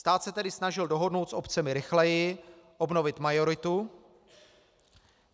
Stát se tedy snažil dohodnout s obcemi rychleji, obnovit majoritu.